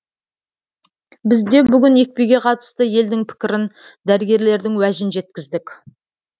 бізде бүгін екпеге қатысты елдің пікірін дәрігерлердің уәжін жеткіздік